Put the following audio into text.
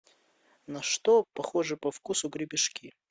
на что похожи по вкусу гребешки